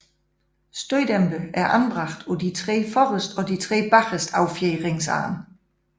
Støddæmpere er anbragt på de tre forreste og to bageste affjedringsarme